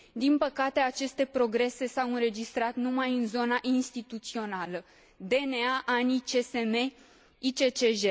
Din păcate, aceste progrese s au înregistrat numai în zona instituțională DNA, ANI, CSM, ICCJ.